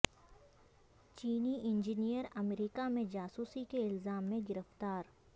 چینی انجینئیر امریکہ میں جاسوسی کے الزام میں گرفتار